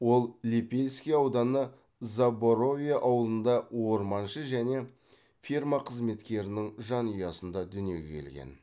ол лепельский ауданы заборовье ауылында орманшы және ферма қызметкерінің жанұясында дүниеге келген